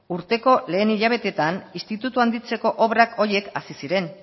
urteko lehen hilabetetan institutua handitzeko obra horiek hasi ziren